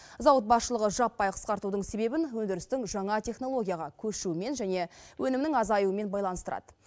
зауыт басшылығы жаппай қысқартудың себебін өндірістің жаңа технологияға көшуімен және өнімнің азаюымен байланыстырады